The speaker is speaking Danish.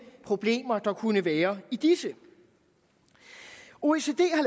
problemer der kunne være i disse oecd